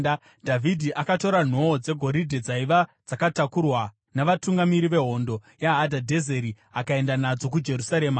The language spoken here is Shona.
Dhavhidhi akatora nhoo dzegoridhe dzaiva dzakatakurwa navatungamiri vehondo yaHadhadhezeri akaenda nadzo kuJerusarema.